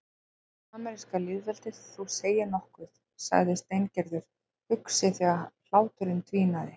Fyrsta ameríska lýðveldið, þú segir nokkuð sagði Steingerður hugsi þegar hláturinn dvínaði.